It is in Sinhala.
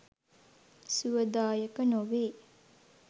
සුවදායක නොවේ.